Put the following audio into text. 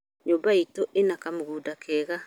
nyũmba itũ ĩna kamũgũnda kega